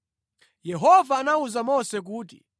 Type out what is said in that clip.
Yehova anawuza Mose kuti,